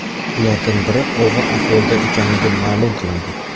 Ulardan biri og‘ir ahvolda ekanligi ma’lum qilindi.